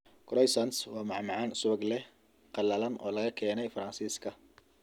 Croissants waa macmacaan subag leh, qalalan oo laga keenay Faransiiska.